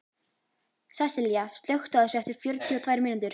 Sessilía, slökktu á þessu eftir fjörutíu og tvær mínútur.